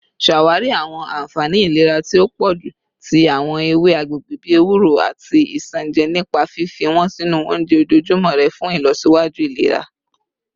Ṣawari awọn anfani ilera ti o pọju ti awọn ewe agbegbe bi ewuro ati isanaje nipa fifi wọn sinu ounjẹ ojoojumọ rẹ fun ilọsiwaju ilera